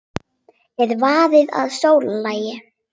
Er verið að sóla lærin?